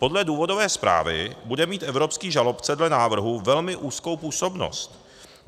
Podle důvodové zprávy bude mít evropský žalobce dle návrhu velmi úzkou působnost.